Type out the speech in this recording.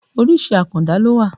Orísìí àkàndá ló wà